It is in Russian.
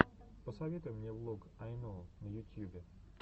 посоветуй мне влог ай ноу на ютьюбе